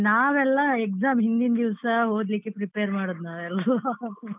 ನಾವೆಲ್ಲ exam ಹಿಂದಿನ್ ದಿವ್ಸ ಓದ್ಲಿಕ್ಕೆ prepare ಮಾಡುದು ನಾವೆಲ್ಲರೂ .